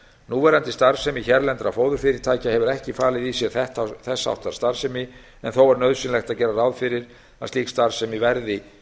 núverandi starfsemi hérlendra fóðurfyrirtækja hefur ekki falið í sér þess háttar starfsemi en þó er nauðsynlegt að gera ráð aðrir að slík starfsemi verði